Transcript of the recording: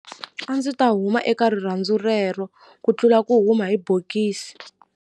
A ndzi ta huma eka rirhandzu rero ku tlula ku huma hi bokisi.